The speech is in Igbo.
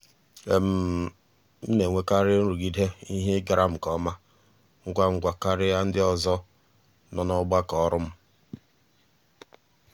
m na-enwekarị nrụgide ihe ịgara m nke ọma ngwa ngwa karịa ndị ọzọ nọ n'ọgbakọ ọrụ m.